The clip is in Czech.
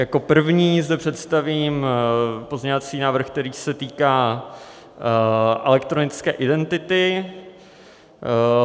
Jako první zde představím pozměňovací návrh, který se týká elektronické identity.